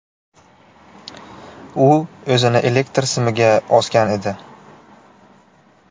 U o‘zini elektr simiga osgan edi.